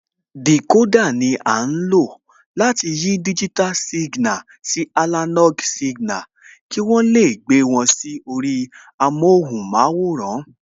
Dìkódà ni à ń lò láti yí digital signal sí analog signal, kí wọ́n lè gbé wọn sí orí amóhunmáwòrán